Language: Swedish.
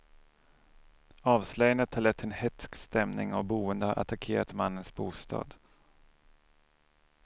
Avslöjandet har lett till en hätsk stämning och boende har attackerat mannens bostad.